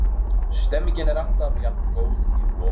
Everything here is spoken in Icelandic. Stemningin er alltaf jafn góð í Voginum.